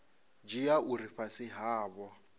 dzhia uri vha fhasi havho